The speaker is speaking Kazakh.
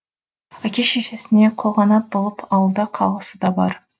әке шешесіне қолқанат болып ауылда қалғысы да бар